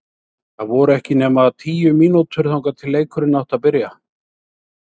Það voru ekki nema tíu mínútur þangað til leikurinn átti að byrja!